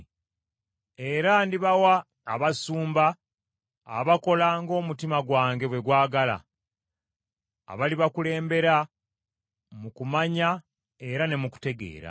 Era ndibawa abasumba abakola ng’omutima gwange bwe gwagala, abalibakulembera mu kumanya era ne mu kutegeera.